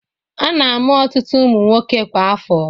A na-amu ọtụtụ ụmụ nwoke kwa afọ.